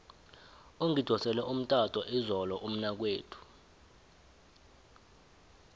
ungidosele umtato izolo umnakwethu